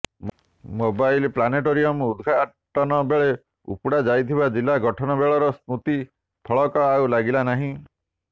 mobile planetarium ଉଦଘାଟନ ବେଳେ ଉପୁଡା ଯାଇଥିବା ଜିଲା ଗଠନ ବେଳର ସ୍ମୃତି ଫଳକ ଆଉ ଲାଗିଲା ନାହିଁ